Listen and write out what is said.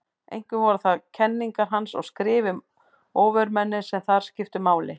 Einkum voru það kenningar hans og skrif um ofurmennið sem þar skiptu máli.